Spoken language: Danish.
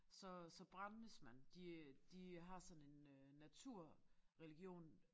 Så så brændes man de øh de øh har sådan en øh naturreligion